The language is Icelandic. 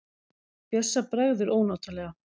Bjössa bregður ónotalega.